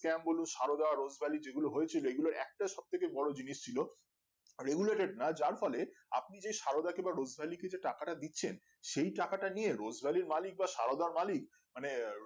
camp বলো Saradha Rose Valley যেগুলো হয়েছিল এগুলো একটা সব থেকে বড়ো জিনিস ছিলো Regulated না যার ফলে আপনি যে সারদাকে বা রোজ ভ্যালিকে যে টাকাটা দিচ্ছেন সেই টাকাটা নিয়ে রোজভ্যালির মালিক বা সারদার মালিক মানে